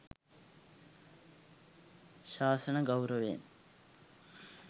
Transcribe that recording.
ශාසන ගෞරවයෙන්